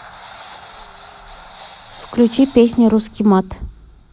включи песня русский мат